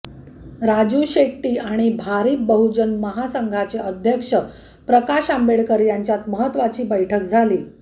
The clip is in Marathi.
राजू शेट्टी आणि भारिप बहुजन महासंघाचे अध्यक्ष प्रकाश आंबेडकर यांच्यात महत्त्वाची बैठक झाली